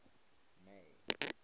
may